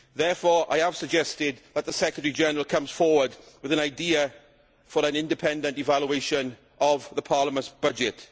Therefore I have suggested that the Secretary General comes forward with an idea for an independent evaluation of the Parliament's budget.